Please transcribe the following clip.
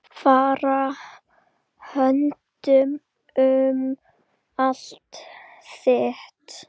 Fara höndum um allt þitt.